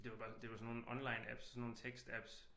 Det var bare det var sådan nogle online apps sådan nogle tekst apps